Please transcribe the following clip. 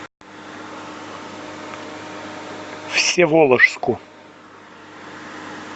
всеволожску